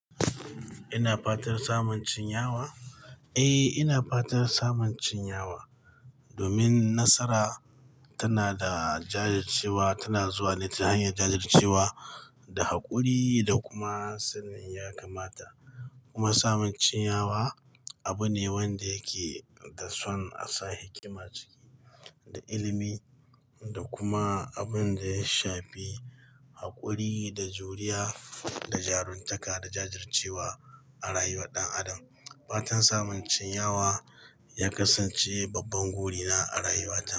Ina fatan samun chinyawa? Eh, ina fatan samun chinyawa domin nasara tana da jajircewa, tana zuwa ne ta hanyar jajircewa da haƙuri da kuma sanin ya kamata. Kuma samun chinyawa abu ne wanda yake da son a sa hikima ciki da ilimi da kuma abun da ya shafi haƙuri da juriya da jaruntaka da jajircewa a rayuwar ɗan adam. Fatan samun chinyawa ya kasance babban buri na a rayuwata.